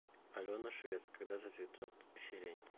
алена швец когда зацветет сирень